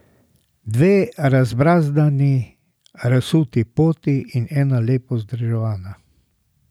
Dve razbrazdani, razsuti poti in ena lepo vzdrževana.